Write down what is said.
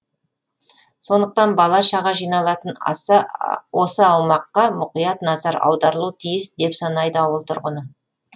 сондықтан бала шаға жиналатын осы аумаққа мұқият назар аударылуы тиіс деп санайды ауыл тұрғыны